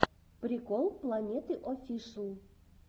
прикол планеты оффишл